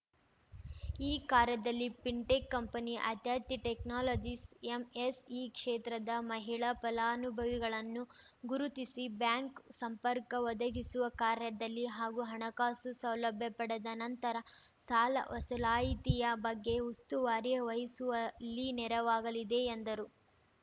ಈ ಕಾರ್ಯದಲ್ಲಿ fintech company ಆತ್ಯಾತಿ ಟೆಕ್ನಾಲಜೀಸ್‌ ಎಂಎಸ್‌ಇ ಕ್ಷೇತ್ರದ ಮಹಿಳಾ ಫಲಾನುಭವಿಗಳನ್ನು ಗುರುತಿಸಿ ಬ್ಯಾಂಕ್‌ ಸಂಪರ್ಕ ಒದಗಿಸುವ ಕಾರ್ಯದಲ್ಲಿ ಹಾಗೂ ಹಣಕಾಸು ಸೌಲಭ್ಯ ಪಡೆದ ನಂತರ ಸಾಲ ವಸೂಲಾಯಿತಿಯ ಬಗ್ಗೆ ಉಸ್ತುವಾರಿ ವಹಿಸುವಲ್ಲಿ ನೆರವಾಗಲಿದೆ ಎಂದರು